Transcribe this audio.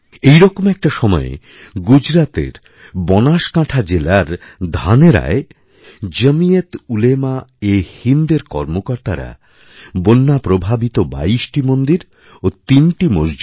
এই রকম একটা সময়ে গুজরাতের বনাসকাঁঠা জেলার ধানেরায়জমীয়েতউলেমাএহিন্দএর কর্মকর্তারা বন্যা প্রভাবিত ২২টি মন্দির ও ৩টি মসজিদের